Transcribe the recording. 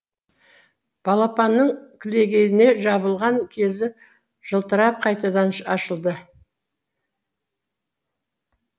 балапанның кілегейіне жабылған кезі жылтырап қайтадан ашылды